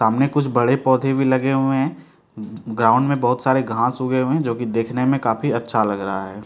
सामने कुछ बड़े पौधे भी लगे हुए हैं ग्राउंड में बहुत सारे घास उगे हुए हैं जो की दिखने में काफी अच्छा लग रहा है।